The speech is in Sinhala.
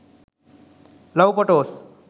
love photos